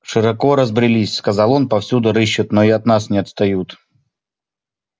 широко разбрелись сказал он повсюду рыщут но и от нас не отстают